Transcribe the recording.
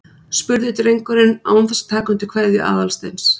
spurði drengurinn án þess að taka undir kveðju Aðalsteins.